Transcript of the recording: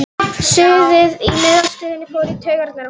Suðið í miðstöðinni fór í taugarnar á honum.